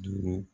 Duuru